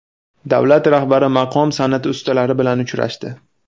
Davlat rahbari maqom san’ati ustalari bilan uchrashdi.